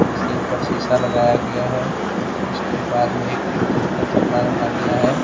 इसके ऊपर शीशा लगाया गया है उसके बाद में एक पिंक कलर का कपड़ा रखा गया है।